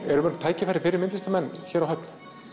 eru tækifæri fyrir myndlistarmenn hér á Höfn